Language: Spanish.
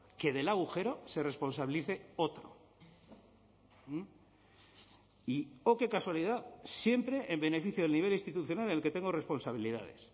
que del agujero se responsabilice otro y oh qué casualidad siempre en beneficio del nivel institucional en el que tengo responsabilidades